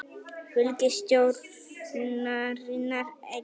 Fylgi stjórnarinnar eykst